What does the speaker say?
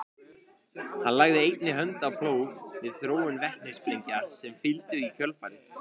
hann lagði einnig hönd á plóg við þróun vetnissprengja sem fylgdu í kjölfarið